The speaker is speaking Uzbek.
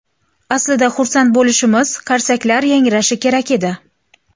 Aslida xursand bo‘lishimiz, qarsaklar yangrashi kerak edi.